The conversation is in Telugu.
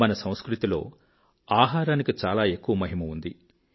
మన సంస్కృతిలో ఆహారానికి చాలా ఎక్కువ మహిమ ఉంది